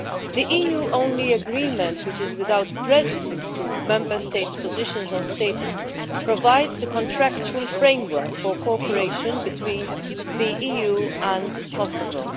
The EU only agreement, which is without prejudice to Member States' positions on status, provides the contractual framework for cooperation between the EU and Kosovo.